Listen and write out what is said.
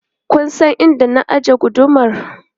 Kun san inda na ajiye gudumar?